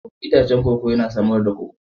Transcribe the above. Itacen koko yana samar da koko.